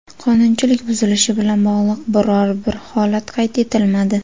Qonunchilik buzilishi bilan bog‘liq biror-bir holat qayd etilmadi.